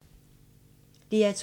DR2